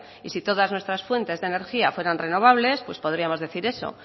y si todas nuestras fuentes de energía fueran renovables pues podríamos decir eso